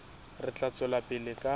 re tla tswela pele ka